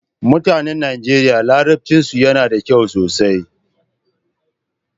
Mutanen Nigeria larabcinsu yana da kyau sosai.